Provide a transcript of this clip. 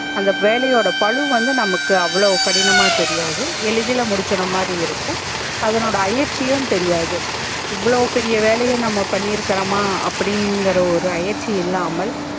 அந்த வேலையோட பலுவு வந்து நமக்கு அவ்ளோ கடினமா தெரியாது ஏளிதுல முடிச்சிரா மாதிரி இருக்கும் அதனுட தெரியாது எவ்ளோ பெரிய வேலையா நம்ப பண்ணியிருரமா அப்டி இங்கர ஒரு இல்லாமல்